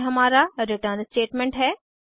यह हमारा return statement है